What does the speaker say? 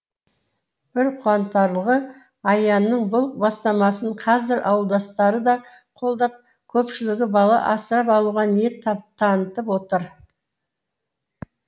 бір қуантарлығы аянның бұл бастамасын қазір ауылдастары да қолдап көпшілігі бала асырап алуға ниет тап танытып отыр